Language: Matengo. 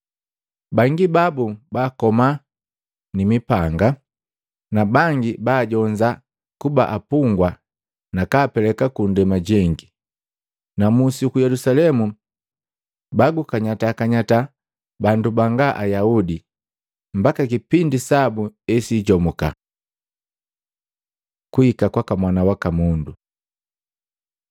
Bangi babu baakoma nimipanga, na bangi baajonza kuba apungwa nakapeleka kundema jengi. Na Musi uku Yelusalemu bagukanyata kanyata bandu banga Ayaudi, mbaka kipindi sabu esijomuka. Kuhika kwaka Mwana waka Mundu Matei 24:29-31; Maluko 13:24-27